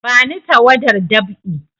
Bani tawadar dab'i!